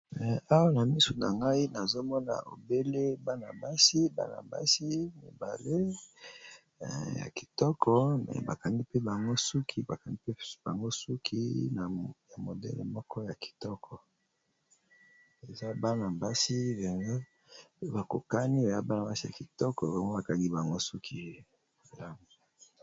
Awa ! na misu na ngai, nazomona obele bana-basi, bana-basi ,mibale ya kitoko! me bakangi mpe, bango suki bakangi mpe ,bango suki ya modele moko ya kitoko ! eza bana-basi, mpenza ! bakokani ya bana basi , ya kitoko bango bakangi bango suki .